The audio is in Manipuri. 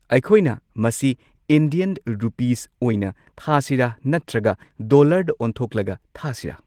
ꯑꯩꯈꯣꯏꯅ ꯃꯁꯤ ꯏꯟꯗꯤꯌꯟ ꯔꯨꯄꯤꯁ ꯑꯣꯏꯅ ꯊꯥꯁꯤꯔꯥ ꯅꯠꯇ꯭ꯔꯒ ꯗꯣꯂꯔꯗ ꯑꯣꯟꯊꯣꯛꯂꯒ ꯊꯥꯁꯤꯔꯥ?